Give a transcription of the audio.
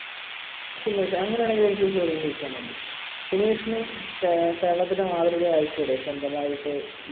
സുമേഷ് അങ്ങനെയാണെകിൽ എനിക്കൊരു ചോദ്യം ചോദിക്കാനുണ്ട്. സുമേഷിന് കേരളത്തിന്റെ മാതൃക ആയിക്കൂടെ സ്വന്തമായിട്ട്